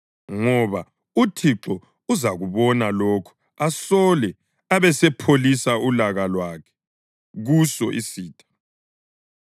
ngoba uThixo uzakubona lokho asole abesepholisa ulaka lwakhe kuso isitha.